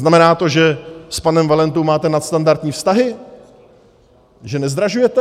Znamená to, že s panem Valentou máte nadstandardní vztahy, že nezdražujete?